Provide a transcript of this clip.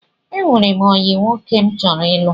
Ee, enwere m ọyị nwoke m chọrọ ịlụ.